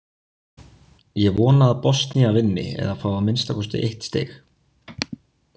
Ég vona að Bosnía vinni eða fái að minnsta kosti eitt stig.